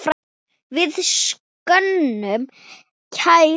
Við söknum kærs vinar.